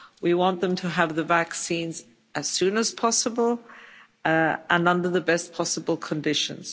We want them to have the vaccine as soon as possible and under the best possible conditions.